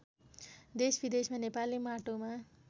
देशविदेशमा नेपाली माटोमा